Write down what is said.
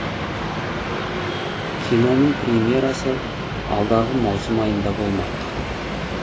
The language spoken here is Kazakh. киноның премьерасы алдағы маусым айында болмақ